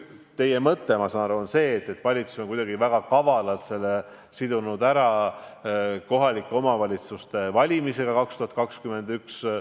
Teie mõte, ma saan aru, on see, et valitsus on kuidagi väga kavalalt sidunud selle kohalike omavalitsuste valimisega 2021. aastal.